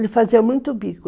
Ele fazia muito bico.